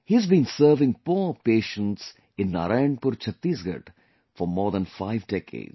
He has been serving poor patients in Narayanpur, Chhattisgarh for more than 5 decades